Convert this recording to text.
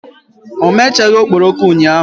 O mechaghị okporoko ụnyahụ.